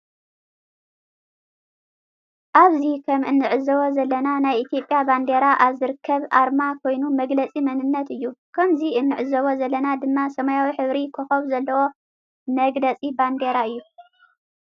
አብዚ ከመ እንዕዞቦ ዘለና ናይ ኢትዮጲያ ባንዴራ አብ ዝርከብ አርማ ኮይኑ መግለፂ መንነት እዩ። ከምዚ እንዕዘቦ ዘለና ድማ ሰማያዊ ሕብሪ ኮኮብ ዘለዎ መግለፅ ባንዴራ እዩ።